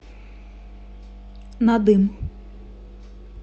надым